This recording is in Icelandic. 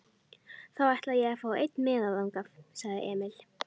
Þá ætla ég að fá einn miða þangað, sagði Emil.